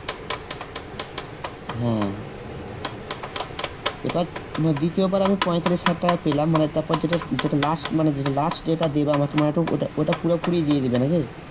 হ্যাঁ এবার মানে দ্বিতীয়বার আমি পঁয়তাল্লিশ হাজার টাকা পেলাম মানে তারপর যেটা যেটা last মানে যেটা last যেটা দেবে আমাকে তোর মানে ওটা ওটা পুরোপুরি দিয়ে দিবে নাকি?